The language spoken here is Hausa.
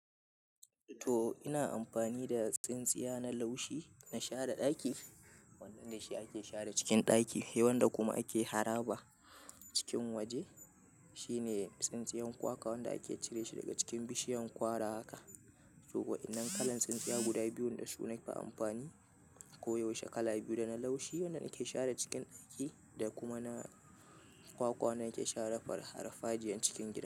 To, ina amfani da tsintsiya na laushi na share ɗaki, wanda shi ake share cikin ɗaki, wanda kuma ake haraba cikin waje. Shine tsintsiyan kwakwa wanda ake cire shi daga cikin bishiyan kwara haka. To, waɗannan kalan tsintsiya guda biyun da su nafi amfani koyaushe, kala biyu da na laushi wanda ke share cikin ɗaki da kuma na kwakwa wanda yake share farfajiyan cikin gida.